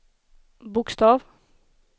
bokstav